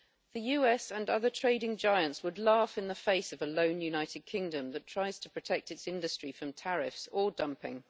The US and other trading giants would laugh in the face of a lone United Kingdom that tries to protect its industry from tariffs or dumping.